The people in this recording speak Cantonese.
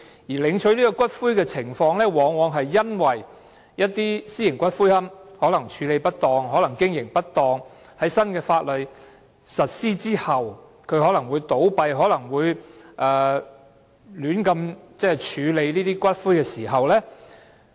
要求領取骨灰的情況，往往在一些私營龕場處理或經營不當，以致在新法例實施後，有可能倒閉而胡亂處理骨灰時出現。